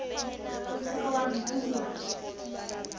o se ke wa ntuba